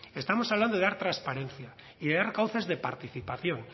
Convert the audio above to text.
estamos hablando de dar trasparencia y de dar cauces de participación